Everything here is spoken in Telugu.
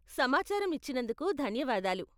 సమాచారం ఇచ్చినందుకు ధన్యవాదాలు.